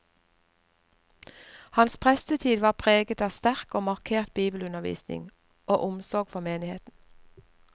Hans prestetid var preget av sterk og markert bibelundervisning og omsorg for menigheten.